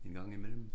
En gang i mellem